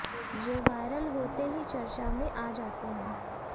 जो वायरल होते ही चर्चा में आ जाते हैं